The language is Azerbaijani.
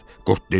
Qurd dedi: